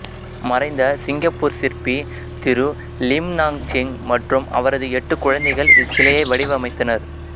மறைந்த சிங்கப்பூர் சிற்பி திரு லிம் நாங்செங் மற்றும் அவரது எட்டு குழந்தைகள் இச்சிலையை வடிவமைத்தனர்